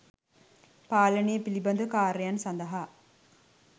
පාලනය පිළිබඳ කාර්යයන් සඳහා